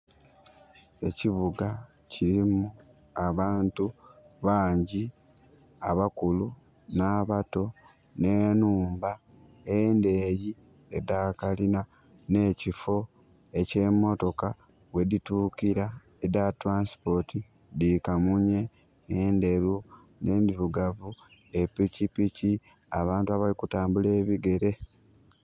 Ekibuga kilimu abantu bangyi, abakulu n'abato, n'enhumba endeeyi edha kalina, n'ekifo eky'emotoka ghedhituukira, edha transport, dhi kamunye, endheru, n'endhirugavu, epikipiki, abantu abali kutambula ebigere.